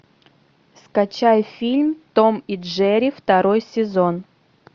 скачай фильм том и джерри второй сезон